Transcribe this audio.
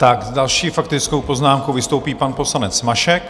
S další faktickou poznámkou vystoupí pan poslanec Mašek.